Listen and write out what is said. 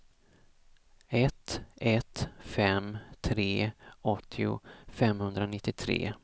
ett ett fem tre åttio femhundranittiotre